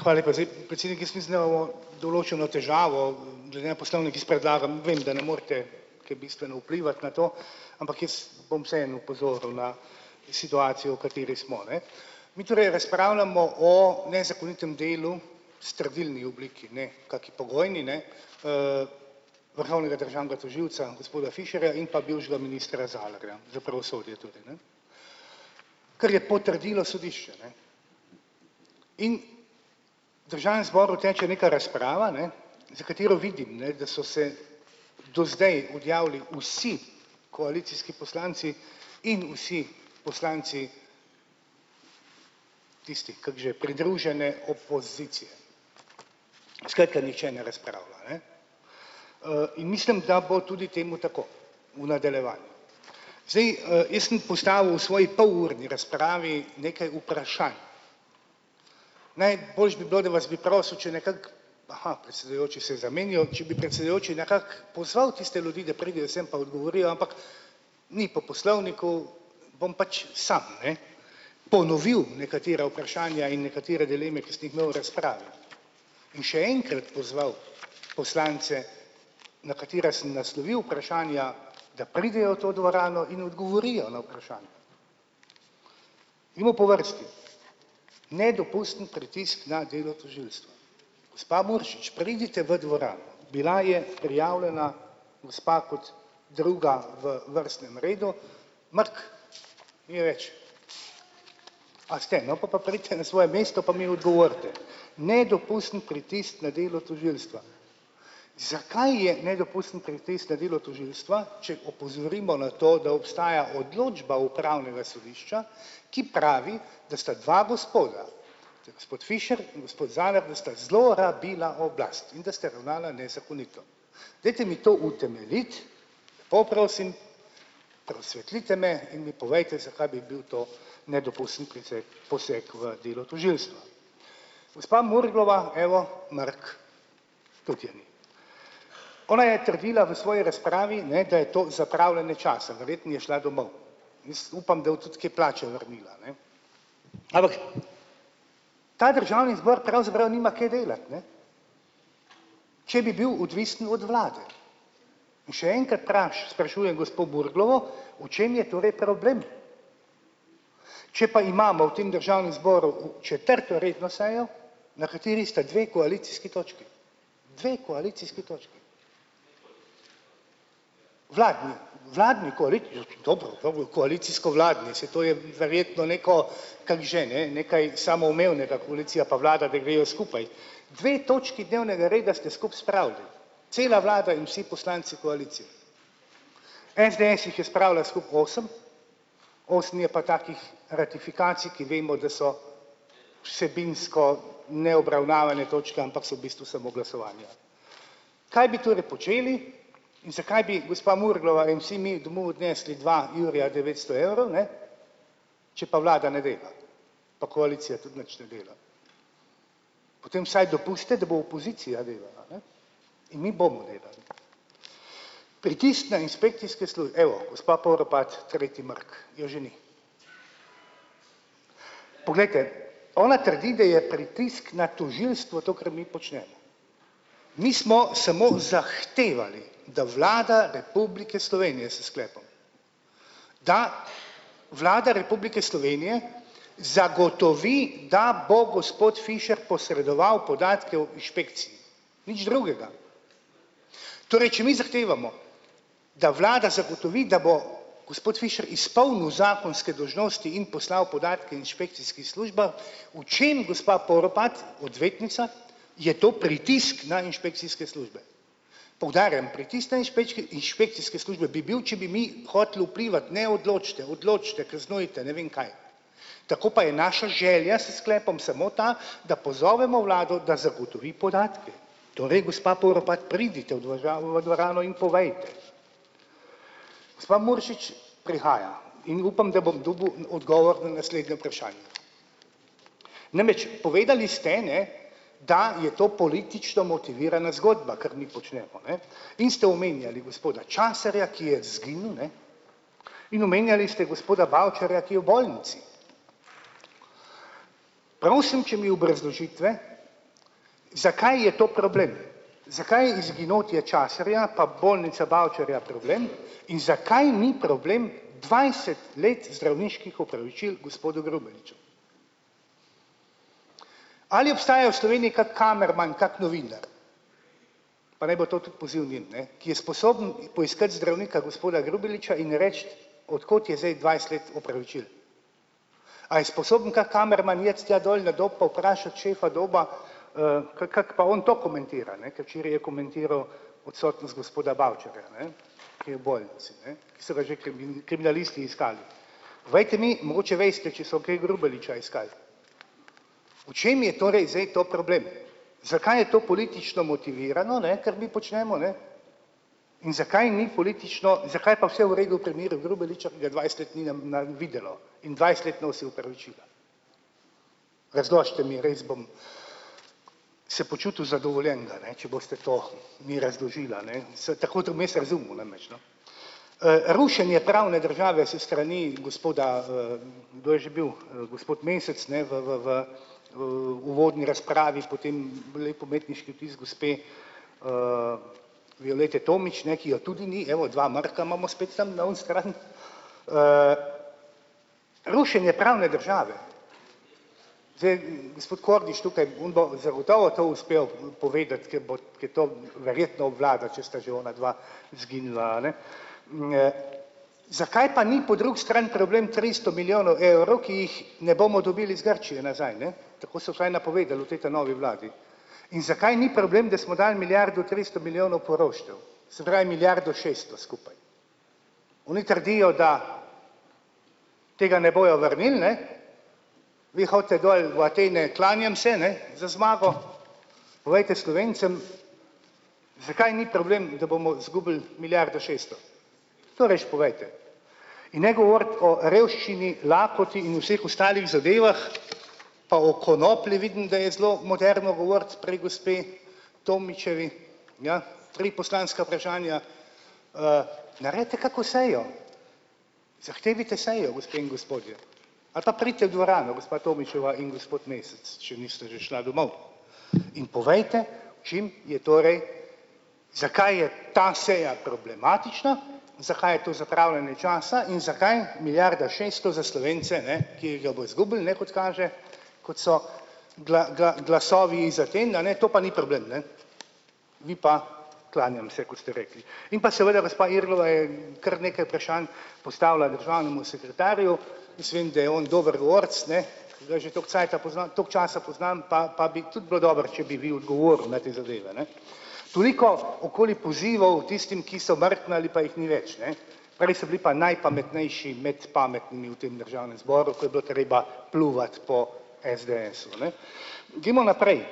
Hvala lepa. Zdaj, predsednik določeno težavo, glede na poslovnik jaz predlagam, vem, da ne morete kaj bistveno vplivati na to, ampak jaz bom vseeno opozoril na situacijo, v kateri smo, ne. Mi torej razpravljamo o nezakonitem delu strdilni obliki, ne kaki pogojni, ne, vrhovnega državnega tožilca gospoda Fišerja in pa bivšega ministra Zalarja za pravosodje tudi ne. Kar je potrdilo sodišče, ne, in državnem zboru teče nekaj razprava, ne, za katero vidim, ne, da so se do zdaj odjavili vsi koalicijski poslanci in vsi poslanci tisti kako že pridružene opozicije. Skratka, nihče ne razpravlja, ne, in mislim, da bo tudi temu tako v nadaljevanju. Zdaj, jaz sem postavil svoji polurni razpravi nekaj vprašanj. Najboljše bi bilo, da vas bi prosil, če nekako, aha predsedujoči se je zamenjal, če bi predsedujoči nekako pozval tiste ljudi, da pridejo sem pa odgovorijo, ampak mi po poslovniku bom pač sam, ne, ponovil nekatera vprašanja in nekatere dileme, ki sem jih imel v razpravi, in še enkrat pozval poslance, na katere sem naslovil vprašanja, da pridejo v to dvorano in odgovorijo na vprašanja. Mi pa po vrsti. Nedopusten pritisk na delo tožilstva. Gospa Muršič, pridite v dvorano, bila je prijavljena gospa kot druga v vrstnem redu, mrk, ni je več. A ste, no, pol pa pridite na svoje mesto pa mi odgovorite. Nedopusten pritisk na delo tožilstva. Zakaj je nedopusten pritisk na delo tožilstva, če opozorimo na to, da obstaja odločba upravnega sodišča, ki pravi da sta dva gospoda, to je gospod Fišer in gospod Zalar, da sta zelo rabila oblast in da sta ravnala nezakonito. Dajte mi to utemeljiti po prosim, razsvetlite me in mi povejte, zakaj bi bil to nedopusten poseg v delo tožilstva. Gospa Murglova, evo, mrk, tudi je ni. Ona je trdila v svoji razpravi, ne, da je to zapravljanje časa, verjetno je šla domov, upam, da bo tudi kaj plače vrnila, ne. Ampak ta državni zbor pravzaprav nima kaj delati, ne, če bi bil odvisen od vlade, in še enkrat sprašujem gospo Murglovo, v čem je torej problem. Če pa imamo v tem državnem zboru četrto redno sejo, na kateri sta dve koalicijski točki, dve koalicijski točki, vladni, vladni dobro, dobro koalicijsko-vladni, saj to je verjetno neko kako že, ne, nekaj samoumevnega koalicija pa vlada, da grejo skupaj dve točki dnevnega reda ste skupaj spravili cela vlada in vsi poslanci koalicije. SDS jih je spravila skupaj osem, osem je pa takih ratifikacij, ki vemo, da so vsebinsko neobravnavane točke, ampak so bistvu samo glasovanja. Kaj bi torej počeli in za kaj bi gospa Murglova in vsi mi domov odnesli dva jurja devetsto evrov, ne, če pa vlada ne dela pa koalicija tudi nič ne dela. potem vsaj dopustite, da bo opozicija delala, ne, in mi bomo delali. Pritisk na inšpekcijske evo, gospa Poropat tretji mrk, je že ni. Poglejte, ona trdi, da je pritisk na tožilstvo to, kar mi počnemo, mi smo samo zahtevali, da Vlada Republike Slovenije s sklepom, da Vlada Republike Slovenije zagotovi, da bo gospod Fišer posredoval podatke o inšpekciji, nič drugega, torej če mi zahtevamo, da vlada zagotovi, da bo gospod Fišer izpolnil zakonske dolžnosti in poslal podatke inšpekcijskim službam. V čem, gospa Poropat, odvetnica, je to pritisk na inšpekcijske službe? Poudarjam, pritisk na inšpekcijske službe bi bil, če bi mi hoteli vplivati: "Ne, odločite, odločite, kaznujte, ne vem kaj." Tako pa je naša želja s sklepom samo ta, da pozovemo vlado, da zagotovi podatke, torej gospa Poropat, pridite v dvožavo v dvorano in povejte. Gospa Muršič prihaja in upam, da bom dobil odgovor na naslednje vprašanje. Namreč povedali ste, ne, da je to politično motivirana zgodba, kar mi počnemo, ne, in ste omenjali gospoda Časarja, ki je izginil, ne, in omenjali ste gospoda Bavčarja, ki je v bolnici. Prosim, če mi obrazložite, zakaj je to problem, zakaj je izginotje Časarja pa bolnice Bavčarja problem in zakaj ni problem dvajset let zdravniških opravičil gospodu Grubeliču. Ali obstaja v Sloveniji kak kamerman, kak novinar, pa naj bo to tudi poziv njim, ne, ki je sposoben poiskati zdravnika gospoda Grubeliča in reči, od kod je zdaj dvajset let opravičil. A je sposoben kak kamerman iti tja dol na Dob pa vprašati šefa Doba, k kako pa on to komentira, ne, ker včeraj je komentiral odsotnost gospoda Bavčarja, ne, ki je v bolnici, ne, so ga že kriminalisti iskali. Povejte mi, mogoče veste, če so kaj Grubeliča iskali, v čem je torej zdaj to problem, zakaj je to politično motivirano, ne, kar mi počnemo ne, in zakaj ni politično, zakaj je pa vse v redu v primeru Grubeliča, ki ga dvajset let ni na videlo in dvajset let nosi opravičila. Razložite mi, res bom se počutil zadovoljnega, ne, če boste to mi razložili, a ne, sem tako to mes razumel namreč, no. Rušenje pravne države s strani gospoda, kdo je že bil, gospod Mesec ne v v v, uvodni razpravi, potem lep umetniški vtis gospe, Violete Tomić, ne, ki jo tudi ni, evo, dva mrka imamo spet tam na oni strani, rušenje pravne države, zdaj, gospod Kordiš tukaj zagotovo to uspel povedati, kaj bo, ki to verjetno obvlada, če sta že ona dva izginila, a ne, zakaj pa ni po drugi strani problem tristo milijonov evrov, ki jih ne bomo dobili iz Grčije nazaj, ne, tako so vsaj napovedali v tej ta novi vladi, in zakaj ni problem, da smo dali milijardo tristo milijonov poroštev, se pravi, milijardo šesto skupaj. Oni trdijo, da tega ne bojo vrnili, ne, vi hodite dol v Atene, klanjam se, ne, za zmago povejte Slovencem, zakaj ni problem, da bomo izgubili milijardo šeststo, to rajši povejte in ne govoriti o revščini, lakoti in vseh ostalih zadevah pa o konoplji vidim, da je zelo moderno govoriti pri gospe Tomićevi. Ja, tri poslanska vprašanja, naredite kako sejo, zahtevajte sejo, gospe in gospodje, ali pa pridite v dvorano, gospa Tomićeva in gospod Mesec, če nista že šla domov, in povejte, v čem je torej, zakaj je ta seja problematična, zakaj je to zapravljanje časa in zakaj milijarda šeststo za Slovence ne, ki ga bojo izgubili, ne, kot kaže, kot so glasovi iz Aten, a ne, to na ni problem, ne, vi pa, klanjam se, kot ste rekli, in pa seveda gospa Irglova je kar nekaj vprašanj postavila državnemu sekretarju, jaz vem, da je on dober govorec, ne, ki ga že toliko cajta poznam, toliko časa poznam, pa pa bi tudi bilo dobro, če bi vi odgovorili na te zadeve, ne. Toliko okoli pozivov tistim, ki smo mrknili, pa jih ni več, ne, prej so bili pa najpametnejši med pametnimi v tem državnem zboru, ko je bilo treba pljuvati po SDS-u, a ne. Gremo naprej.